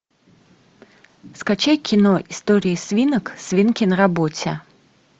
скачай кино истории свинок свинки на работе